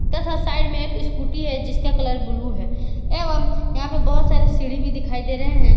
तथा साइड में एक स्कूटी है जिसका कलर ब्लू है एवं यहां पे बहोत सारे सीढ़ी भी दिखाई दे रहे हैं।